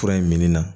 Fura in min na